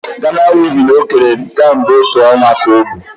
Ghana weaving o kere kemgbe otú ọnwa ka o bu